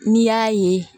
N'i y'a ye